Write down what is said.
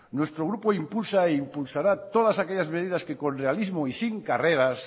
nuestro grupo impulsa e impulsará todas aquellas medidas que con legalismo y sin carreras